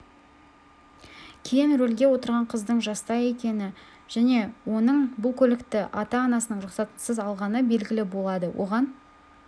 кейін рөлге отырған қыздың жаста екені және оның бұл көлікті ата-анасының рұқсатынсыз алғаны белгілі болады оған